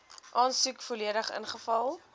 aansoek volledig ingevul